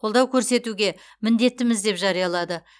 қолдау көрсетуге міндеттіміз деп жариялады